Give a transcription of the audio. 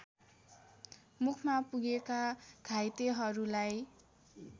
मुखमा पुगेका घाइतेहरूलाई